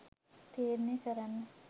තීරණය කරන්න.